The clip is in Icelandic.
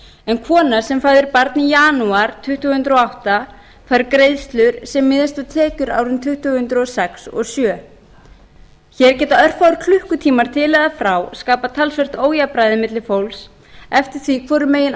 en kona sem fæðir barn í janúar tvö þúsund og átta fær greiðslur sem miðast við tekjur árin tvö þúsund og sex og tvö þúsund og sjö hér geta örfáir klukkutímar til eða frá skapað talsvert ójafnræði milli fólks eftir því hvoru megin